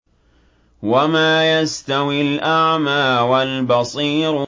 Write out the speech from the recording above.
وَمَا يَسْتَوِي الْأَعْمَىٰ وَالْبَصِيرُ